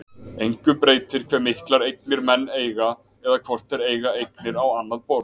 Engu breytir hve miklar eignir menn eiga eða hvort þeir eiga eignir á annað borð.